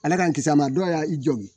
Ala ka kisi a ma dɔ y'a i jogin.